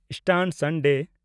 Easter Sunday